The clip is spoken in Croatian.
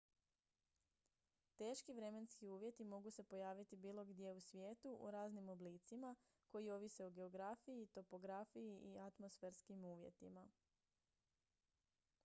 teški vremenski uvjeti mogu se pojaviti bilo gdje u svijetu u raznim oblicima koji ovise o geografiji topografiji i atmosferskim uvjetima